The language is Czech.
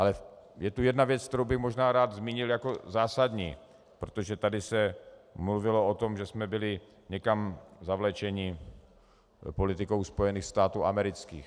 Ale je tu jedna věc, kterou bych možná rád zmínil jako zásadní, protože tady se mluvilo o tom, že jsme byli někam zavlečeni politikou Spojených států amerických.